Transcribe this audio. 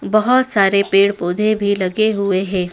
बहोत सारे पेड़ पौधे भी लगे हुए हैं।